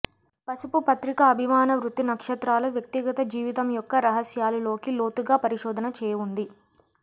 పసుపు పత్రికా అభిమాన వృత్తి నక్షత్రాల వ్యక్తిగత జీవితం యొక్క రహస్యాలు లోకి లోతుగా పరిశోధన చేయు ఉంది